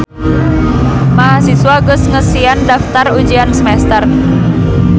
Mahasiswa geus ngesian daftar ujian semester